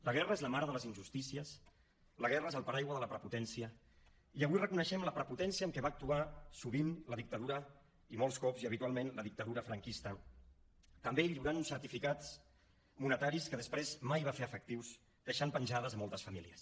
la guerra és la mare de les injustícies la guerra és el paraigua de la prepotència i avui reconeixem la prepotència amb què va actuar sovint la dictadura i molts cops i habitualment la dictadura franquista també lliurant uns certificats monetaris que després mai va fer efectius i va deixar penjades moltes famílies